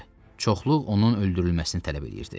Çoxluq onun öldürülməsini tələb edirdi.